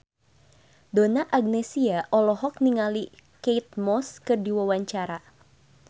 Donna Agnesia olohok ningali Kate Moss keur diwawancara